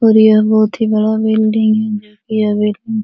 और यह बहुत ही बड़ा बिल्डिंग है यह बिल्डिंग --